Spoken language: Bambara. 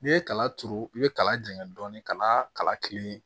N'i ye kala turu i bɛ kala jɛngɛ dɔɔnin ka na kala ki